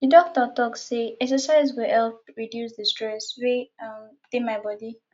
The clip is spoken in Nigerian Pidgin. di doctor tok sey exercise go help reduce di stress wey um dey my bodi